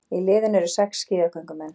Í liðinu eru sex skíðagöngumenn